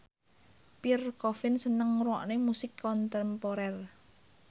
Pierre Coffin seneng ngrungokne musik kontemporer